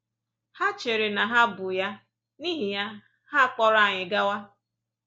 Ha chere na ha bụ ya, n’ihi ya, ha kpọrọ anyị gawa.